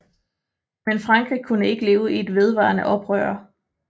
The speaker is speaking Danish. Men Frankrig kunne ikke leve i et vedvarende oprør